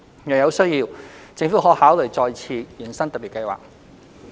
若有需要，政府可考慮再次延伸特別計劃。